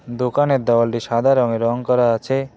দোকানের দেওয়ালটি সাদা রঙে রং করা আছে।